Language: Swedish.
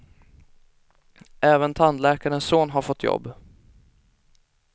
Även tandläkarens son har fått jobb.